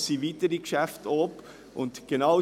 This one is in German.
Es sind weitere Geschäfte unterwegs.